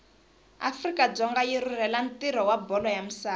afrika dzonga yirhurhela ntiro wabholo yamisava